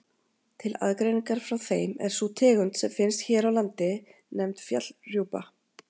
Til aðgreiningar frá þeim er sú tegund sem finnst hér á landi nefnd fjallrjúpa.